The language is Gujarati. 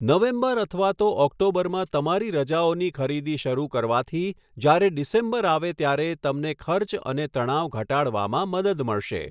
નવેમ્બર અથવા તો ઑક્ટોબરમાં તમારી રજાઓની ખરીદી શરૂ કરવાથી જ્યારે ડિસેમ્બર આવે ત્યારે તમને ખર્ચ અને તણાવ ઘટાડવામાં મદદ મળશે.